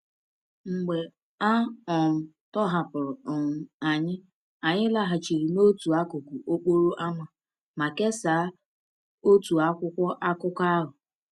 Mgbe a um tọhapụrụ um anyị, anyị laghachiri n’otu akụkụ okporo ámá ma kesaa otu akwụkwọ akụkọ ahụ.